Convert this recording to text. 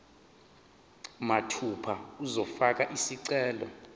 mathupha uzofaka isicelo